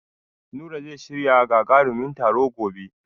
Nura zai shirya gagarumin taro gobe.